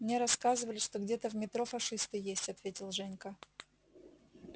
мне рассказывали что где-то в метро фашисты есть ответил женька